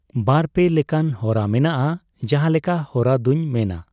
ᱵᱟᱨᱼᱯᱮ ᱞᱮᱠᱟᱱ ᱦᱚᱨᱟ ᱢᱮᱱᱟᱜᱼᱟ ᱾ ᱡᱟᱦᱟᱸᱞᱮᱠᱟ ᱦᱚᱨᱟ ᱫᱚᱧ ᱢᱮᱱᱟ